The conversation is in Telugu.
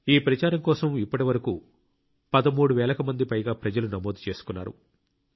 ఈ ప్రచారం కోసం ఇప్పటివరకు 13 వేలకు పైగా ప్రజలు నమోదు చేసుకున్నారు